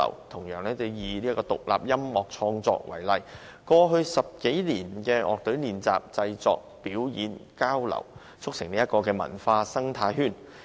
同樣以獨立音樂創作為例，過去10多年的樂隊練習、製作、表演、交流，促成文化生態圈。